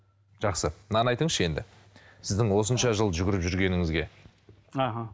жақсы мынаны айтыңызшы енді сіздің осынша жыл жүгіріп жүргеніңізге іхі